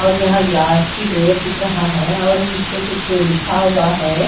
और यहां ग्लास की डोअर दिख रहा है और उस पे कुछ लिखा हुआ है।